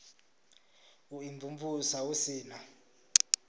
u imvumvusa hu si na